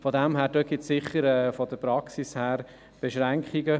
Diesbezüglich gibt es aus praktischer Sicht bestimmt Beschränkungen.